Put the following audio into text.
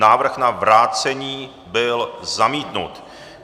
Návrh na vrácení byl zamítnut.